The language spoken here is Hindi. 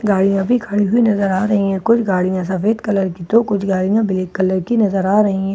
गाड़िया भी खरी हुयी नजर आ रही है कुछ गाड़िया सफ़ेद कलर की कुछ गाड़िया कलर की नजर आ रही है व--